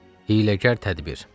Hiyləkar tədbir.